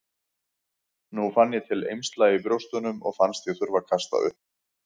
Nú fann ég til eymsla í brjóstunum og fannst ég þurfa að kasta upp.